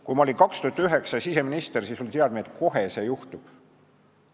Kui ma olin 2009. aastal siseminister, siis oli teadmine, et see juhtub kohe.